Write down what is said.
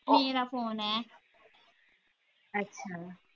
ਮੇਰਾ ਫੋਨ ਏ